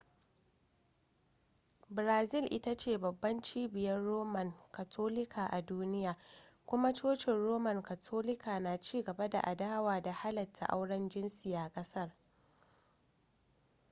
brazil ita ce babbar cibiyar roman katolika a duniya kuma cocin roman katolika na cigaba da adawa da halatta auren jinsi a kasar